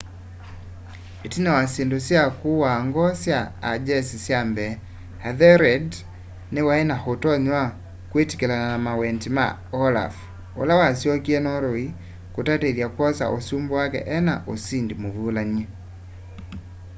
itina wa syindu sya kuaa ngoo sya a jeshi sya mbee ethelred niwai na utonyi wa kwitikilana na mawendi ma olaf ula wasyokie norway kutatithya kwosa usumbi wake ena usindi muvulany'e